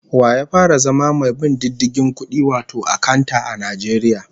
Wa ya fara zama mai bin diddigin kudi wato akanta, a Najeriya?